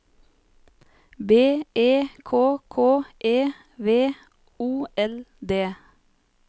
B E K K E V O L D